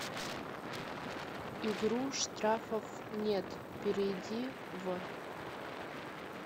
игру штрафов нет перейди в